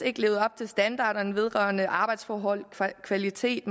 ikke levede op til standarderne vedrørende arbejdsforhold kvalitet